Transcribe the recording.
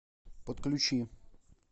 подключи